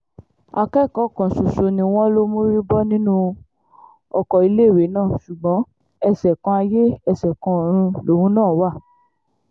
akẹ́kọ̀ọ́ kan ṣoṣo ni wọ́n lọ mórí bọ́ nínú ọkọ̀ iléèwé náà ṣùgbọ́n ẹsẹ-kan-ayé ẹsẹ-kan-ọ̀run lòun náà wà